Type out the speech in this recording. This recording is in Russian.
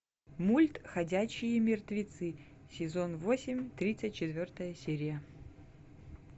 мульт ходячие мертвецы сезон восемь тридцать четвертая серия